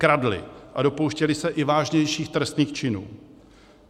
Kradli a dopouštěli se i vážnějších trestných činů.